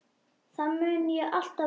Það mun ég alltaf muna.